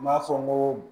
N b'a fɔ n ko